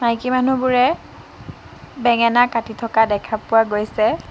মাইকী মানুহবোৰে বেঙেনা কাটি থকা দেখা পোৱা গৈছে।